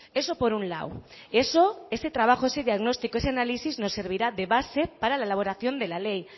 eso por un lado eso ese trabajo ese diagnóstico ese análisis me servirá de base para la elaboración de la ley